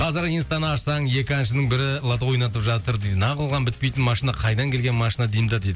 қазір инстаны ашсаң екі әншінің бірі лото ойнатып жатыр дейді не қылған бітпейтін машина қайдан келген машина деймін да дейді